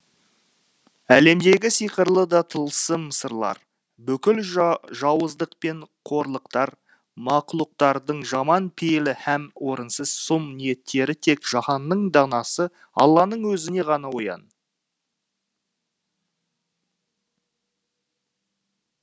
әлемдегі сиқырлы да тылсым сырлар бүкіл жауыздық пен қорлықтар мақлұқтардың жаман пейілі һәм орынсыз сұм ниеттері тек жаһанның данасы алланың өзіне ғана